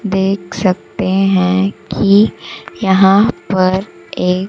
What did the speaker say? देख सकते हैं कि यहां पर एक--